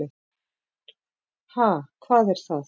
Ha, hvað er það.